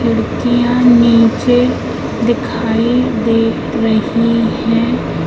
मुर्गियाँ नीचे दिखाई दे रही है।